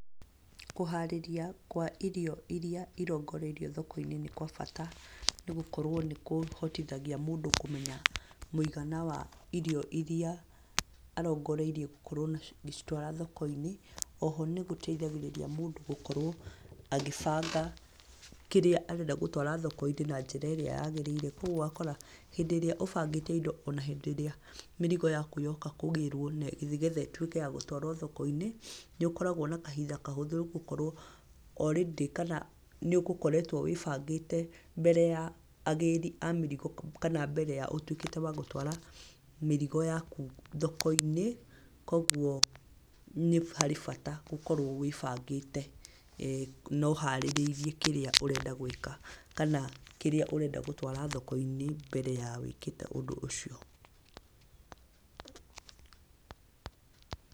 Kũharĩria kwa irio irĩa irongoreirio thoko-inĩ nĩ gwa bata nĩ gũkorwo nĩ kũhotithagia mũndũ kũmenya mũigana wa irio iria arongoreirie gũkorwo agĩcitwara thoko-inĩ. Oho nĩ gũteihagĩrĩria mũndũ gũkorwo agĩbanga kĩrĩa arenda gũtwara thoko-inĩ na njĩra ĩrĩa yagĩrĩire kũoguo ũgakora hĩndĩ ĩrĩa ũbangĩte indo ona hĩndĩ ĩrĩa mĩrigo yaku yoka kũgĩrwo nĩ getha ĩtwĩke ya gũtwaro thoko-inĩ nĩ ũkoragwo na kahinda kahũthũ nĩ gũkorwo o rĩndĩ kana nĩ ũgũkoretwo wĩbangĩte mbere ya agĩri a mĩrigo kana mbere ya ũtwĩkĩte wa gũtwara mĩrigo yaku thoko-inĩ. Kũoguo nĩ harĩ bata gũkorwo wĩbangĩte na ũharĩrĩirie kĩrĩa ũrenda gwĩka kana kĩria ũrenda gũtwara thoko-inĩ mbere ya wĩkĩte ũndũ ũcio.